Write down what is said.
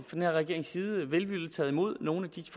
den her regerings side velvilligt taget imod nogle af de